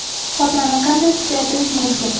Xotirani qanday kuchaytirish mumkin?.